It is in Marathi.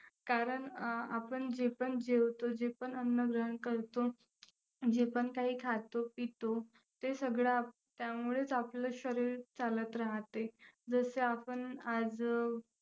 कारण अं आपण जे पण जेवतो, जे पण अन्न ग्रहण करतो, जे पण काही खातो-पितो ते सगळं त्यामुळेच आपलं शरीर चालत राहते. जसे आपण आज अं